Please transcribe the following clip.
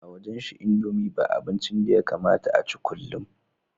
A wajenshi indomie ba abincin da yakamata a ci kullum